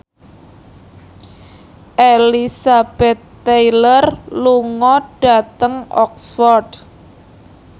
Elizabeth Taylor lunga dhateng Oxford